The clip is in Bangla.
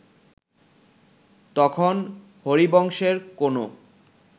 তখন হরিবংশের কোন